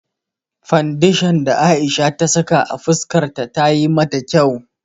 Fandeshan da Aisha ta saka a fuskar ta tayi mata kyau.